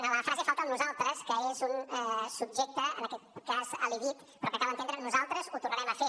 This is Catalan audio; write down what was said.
en la frase hi falta el nosaltres que és un subjecte en aquest cas elidit però que cal entendre nosaltres ho tornarem a fer